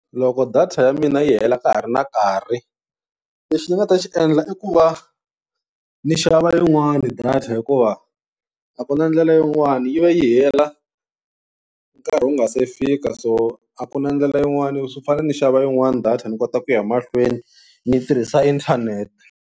Loko data ya mina yi hela ka ha ri na nkarhi lexi ni nga ta xi endla i ku va ni xava yin'wani data hikuva a ku na ndlela yin'wana yi va yi hela nkarhi wu nga se fika, so a ku na ndlela yin'wani swi fanele ni xava yin'wana data ni kota ku ya mahlweni ni yi tirhisa inthanete.